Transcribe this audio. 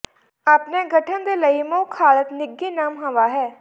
ਆਪਣੇ ਗਠਨ ਦੇ ਲਈ ਮੁੱਖ ਹਾਲਤ ਨਿੱਘੀ ਨਮ ਹਵਾ ਹੈ